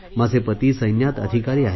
माझे पती सैन्यात अधिकारी आहेत